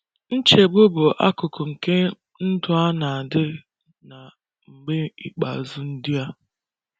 Nchegbu bụ akụkụ nke ndụ a na - adị na “ mgbe ikpeazụ ” ndị a.